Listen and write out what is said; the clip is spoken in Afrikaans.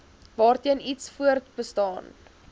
waarteen iets voortbestaan